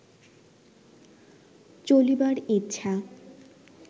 চলিবার ইচ্ছা